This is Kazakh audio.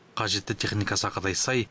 қажетті техника сақадай сай